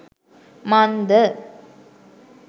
මන්ද